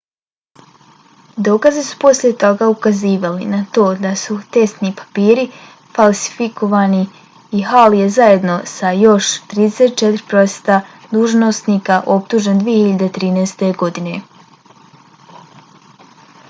dokazi su poslije toga ukazivali na to da su testni papiri falsifikovani i hall je zajedno sa još 34 prosvjetna dužnosnika optužen 2013. godine